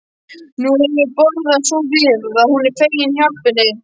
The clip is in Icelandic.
Nú hefur brugðið svo við að hún er fegin hjálpinni.